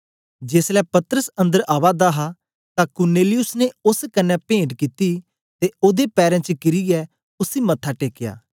जेसलै पतरस अन्दर आवा दा हा तां कुरनेलियुस ने ओस कन्ने पेंट कित्ती ते ओदे पैरें च किरीयै उसी मत्था टेकया